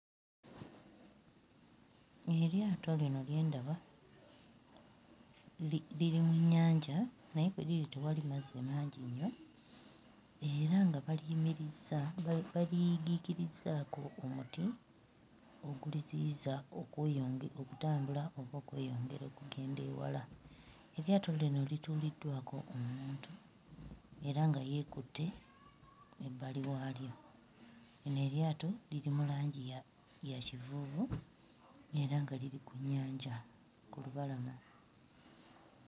Eryato lino lye ndaba liri mu nnyanja naye kwe liri tewali mazzi mangi nnyo era nga baliyimirizza baliyigiikirizzaako omuti oguliziyiza okweyonge... okutambula oba okweyongera okugenda ewala. Eryato lino lituuliddwako omuntu era nga yeekutte ebbali waalyo. Lino eryato liri mu langi ya ya kivuuvu era nga liri ku nnyanja ku lubalama.